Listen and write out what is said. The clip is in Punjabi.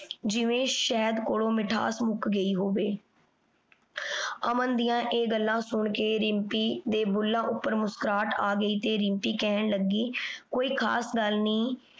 ਜਿਵੇਂ ਸ਼ਾਹੇਡ ਕੋਲੋ ਮਿਠਾਸ ਮੁਕ ਗਈ ਹੋਵੇ ਅਮਨ ਡਿਯਨ ਆਯ ਗਾਲਾਂ ਸੁਨ ਕੇ ਦਿਮ੍ਪੀ ਦੇ ਬੁੱਲਾਂ ਊਟੀ ਮੁਸਕੁਰਾਹਟ ਆਗੈ ਤੇ ਰਿਮ੍ਪੀ ਕਹਨ ਲਾਗੀ ਕੋਈ ਖਾਸ ਗਲ ਨਹੀ